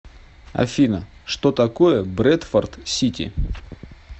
афина что такое брэдфорд сити